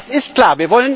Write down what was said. Das ist klar.